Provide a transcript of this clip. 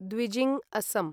द्विजिंग् अस्सं